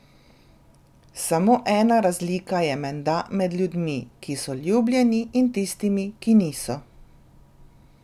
Samo ena razlika je menda med ljudmi, ki so ljubljeni, in tistimi, ki niso.